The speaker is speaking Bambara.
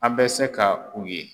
An bɛ se ka u ye.